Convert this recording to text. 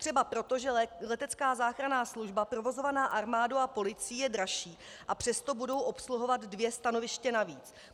Třeba proto, že letecká záchranná služba provozovaná armádou a policií je dražší, a přesto budou obsluhovat dvě stanoviště navíc.